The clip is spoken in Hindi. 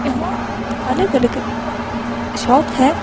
यहाँ अलग-अलग शॉप है।